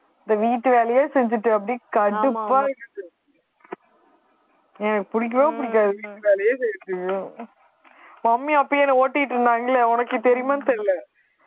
இந்த வீட்டு வேலையே செஞ்சுட்டு அப்படியே கடுப்பா எனக்கு பிடிக்கவே பிடிக்காது வீட்டு வேலையே செய்யறது mummy அப்பவே என்னை ஓட்டிட்டு இருந்தாங்களே உனக்கு தெரியுமான்னு தெரியலே